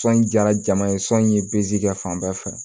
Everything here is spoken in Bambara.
Sɔni jara jama ye sɔnni ye kɛ fan bɛɛ fɛ